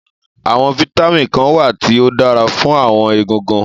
Àwọn vitamin kan wà tí ó dára fún àwọn egungun